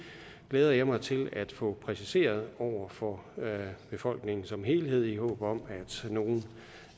glæder jeg mig til at få præciseret over for befolkningen som helhed i håb om